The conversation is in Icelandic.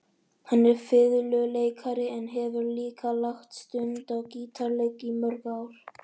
Hann er fiðluleikari en hefur líka lagt stund á gítarleik í mörg ár.